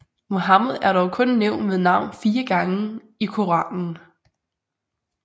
Muhammed er dog kun nævnt ved navn fire gange i Koranen